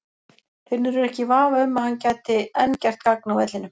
Finnur er ekki í vafa um að hann gæti enn gert gagn á vellinum.